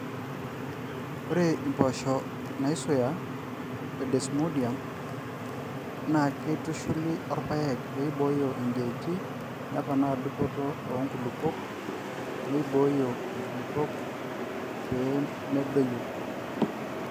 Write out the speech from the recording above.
ore impposho naaisuya o desmodium naakeitushuli orpaek pee ibooyo ijiati ,neponaa dupoto oo nkulupuok neibooyo inkulupuok pee medoyio.